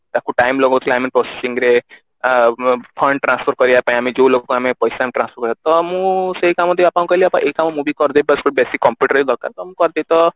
ତାକୁ time ଲାଗୋଉଥିଲା ଆମେ processing ରେ ଅ ଅ fund transfer କରିବା ପାଇଁ ଆମେ ଯୋଉ ଲୋକ ଆମେ ପଇସା transfer ହବ ତ ମୁଁ ସେଇ କାମ ଟି ବାପାଙ୍କୁ କହିଲି ବାପା ଏଇ କାମ ମୁଁ ବି କରି ଦେଇ ପାରିବି basic computer ହିଁ ଦରକାର ତ ମୁଁ କରିଦେବି ତ